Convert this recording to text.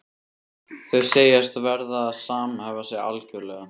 Þau segjast verða að samhæfa sig algjörlega.